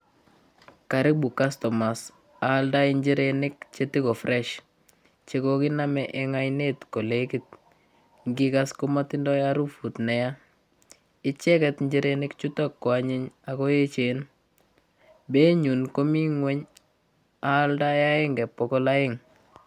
Karibu customers aaldai njirenik che ti ko fresh, che kokinome eng oinet kolekit, ngikas komatindoi harufut ne ya, icheket njirenik chuto koanyiny ak ko echen, beinyu komi nguny aaldoe akenge bokol oeng.